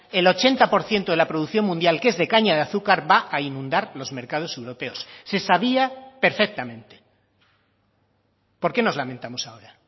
el ochenta por ciento de la producción mundial que es de caña de azúcar va a inundar los mercados europeos se sabía perfectamente por qué nos lamentamos ahora